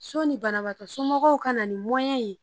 Sɔni banabaga somɔgɔw ka na ni ye